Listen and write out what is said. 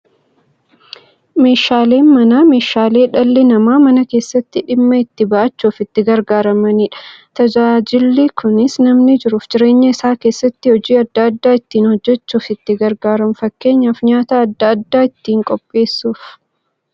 Meeshaaleen Manaa meeshaalee dhalli namaa Mana keessatti dhimma itti ba'achuuf itti gargaaramaniidha. Tajaajilli kunis, namni jiruuf jireenya isaa keessatti hojii adda adda ittiin hojjachuuf itti gargaaramu. Fakkeenyaf, nyaata adda addaa ittiin qopheessuuf.